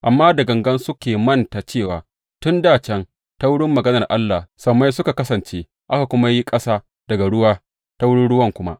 Amma da gangan suke manta cewa tun dā can ta wurin maganar Allah sammai suka kasance aka kuma yi ƙasa daga ruwa ta wurin ruwa kuma.